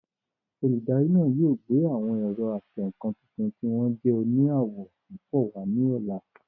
Olùdarí náà yóò gbé àwọn ẹ̀rọ atẹǹkan tuntun tí wọ́n jẹ́ òní àwọ̀ púpọ̀ wá ní ọ̀la